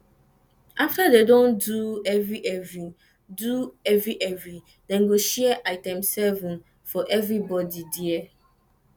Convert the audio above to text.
afta dem don do evrievri do evrievri dem go share item7 for evribodi dia